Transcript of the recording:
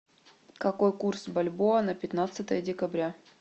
какой курс бальбоа на пятнадцатое декабря